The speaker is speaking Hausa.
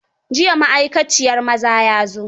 Jiya maai kaciyar maza ya zo.